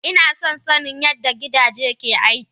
Inason sanin yadda gidaje ke aiki.